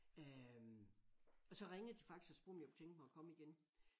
Øh og så ringede de faktisk og spurgte om jeg kunne tænke mig at komme igen